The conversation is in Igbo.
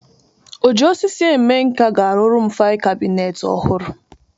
Oji osisi eme nka ga-arụrụ m fail kabinet ọhụrụ.